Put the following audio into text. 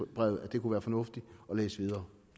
brevet at det kunne være fornuftigt at læse videre